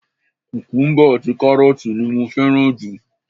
Kukumuba àti karooti ni mo fẹ́ràn jù.